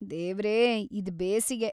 ದೇವ್ರೆ, ಇದ್‌ ಬೇಸಿಗೆ!